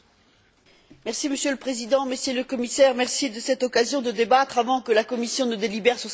Monsieur le Président, Monsieur le Commissaire, merci de cette occasion de débattre avant que la Commission ne délibère sur ces propositions.